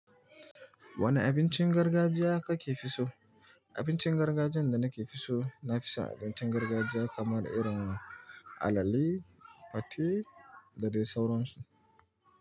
Wane abincin gargajiya ka ke fi so? Abincin gargajiyan da nake so, nafison abincin gargajiya kamar irin alale, fate da dai sauransu.